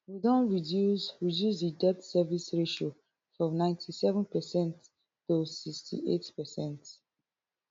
we don reduce reduce di debt service ratio from ninety-seven per cent to sixty-eight per cent